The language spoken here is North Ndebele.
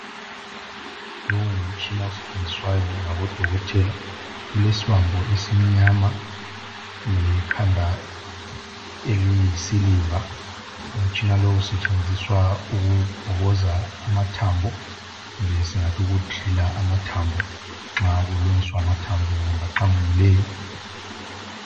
Lowu ngumtshina osetshenziswayo ngabo dokotela ulesibambo esimnyama lekhanda eliyisiliva umtshina lowu usetshenziswa ukubhokoza amathambo kumbe singathi uku driller amathambo nxa kulungiswa amathambo kumbe aqamukileyo